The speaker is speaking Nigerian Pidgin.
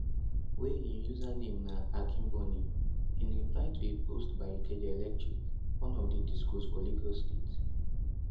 wey im username na akinboni in reply to a post by ikeja electric one of di discos for lagos state